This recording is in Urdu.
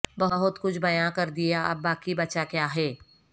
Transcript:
بہت کچھ بیاں کردیا اب باقی بچا کیا ہے